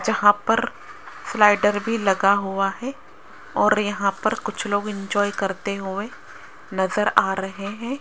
जहां पर स्लाइडर भी लगा हुआ है और यहां पर कुछ लोग इंजॉय करते हुए नजर आ रहे हैं।